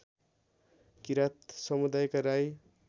किरात समुदायका राई